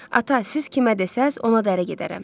Ata, siz kimə desəz, ona da ərə gedərəm.